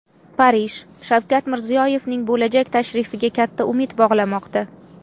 Parij Shavkat Mirziyoyevning bo‘lajak tashrifiga katta umid bog‘lamoqda.